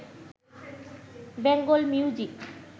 Bengal music